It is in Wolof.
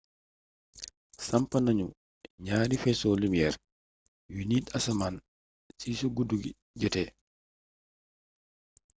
samp nañu ñaari faisceau lumière yuy niit asmaan si su guddi jotee